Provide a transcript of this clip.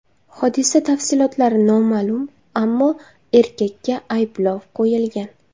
Hodisa tafsilotlari noma’lum, ammo erkakka ayblov qo‘yilgan.